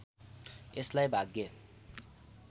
यसलाई भाग्य